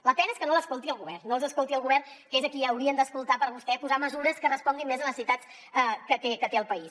la pena és que no els escolti el govern no els escolti el govern que és a qui haurien d’escoltar per vostè posar mesures que responguin més a les necessitats que té el país